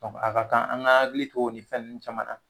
Dɔnku a Ka kan an ka hakili to ni fɛn ninnu caman na